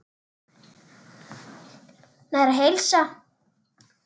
Næring og heilsa.